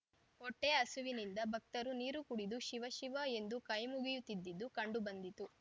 ಹೊಟ್ಟೆ ಹಸುವಿನಿಂದ ಭಕ್ತರು ನೀರು ಕುಡಿದು ಶಿವ ಶಿವ ಎಂದು ಕೈ ಮುಗಿಯುತ್ತಿದ್ದುದ್ದು ಕಂಡು ಬಂದಿತ್ತು